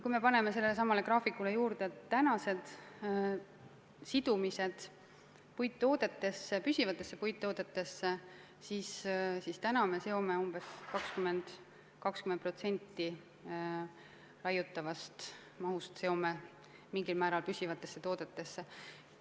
Kui me paneme sellelesamale graafikule juurde tänased sidumised püsivatesse puittoodetesse, siis praegu me seome umbes 20% raiutavast mahust mingil määral püsivatesse toodetesse.